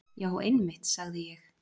Já einmitt, sagði ég.